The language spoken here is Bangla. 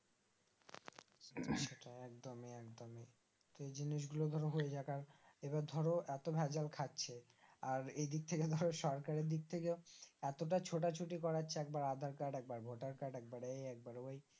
উম একদমই একদমই এই জিনিসগুলো ধরো হয়ে যাক আর এবার ধরো এতো ভেজাল খাচ্ছে আর এইদিক থেকে ধরো সরকারের দিক থেকে এতটা ছোট ছুটি করেছে একবার আধার কার্ড একবার ভোটার কার্ড একবার এই একবার ওই